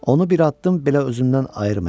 Onu bir addım belə özümdən ayırmayacam.